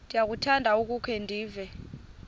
ndiyakuthanda ukukhe ndive